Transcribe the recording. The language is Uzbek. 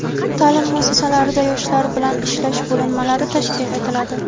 taʼlim muassasalarida yoshlar bilan ishlash bo‘linmalari tashkil etiladi.